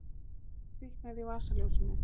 Þá kviknar á vasaljósinu.